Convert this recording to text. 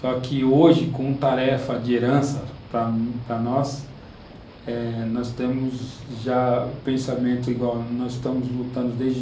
Só que hoje, com tarefa de herança para nós, eh, nós temos já o pensamento igual, nós estamos lutando desde dois mil e um.